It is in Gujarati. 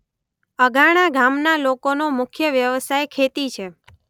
અધાણા ગામના લોકોનો મુખ્ય વ્યવસાય ખેતી છે.